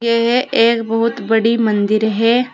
यह एक बहुत बड़ी मंदिर है।